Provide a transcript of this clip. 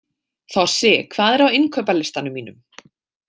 Þossi, hvað er á innkaupalistanum mínum?